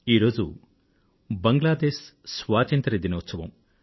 ఈ రోజు బంగ్లాదేశ్ స్వతంత్ర దినోత్సవం